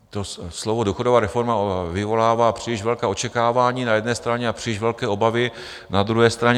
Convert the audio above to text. To slovo důchodová reforma vyvolává příliš velká očekávání na jedné straně a příliš velké obavy, na druhé straně.